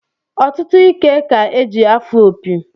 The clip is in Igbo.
Ọtụtụ ike ka-eji afụ opi